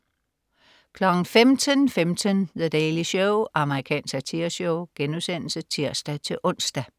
15.15 The Daily Show. Amerikansk satireshow* (tirs-ons)